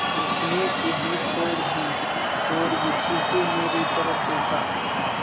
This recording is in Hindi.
उसने सीढ़ी छोड़ दी और गुस्से से मेरी तरफ़ देखा